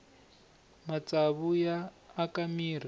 matsavu ya aka mirhi